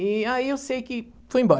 E aí eu sei que foi embora.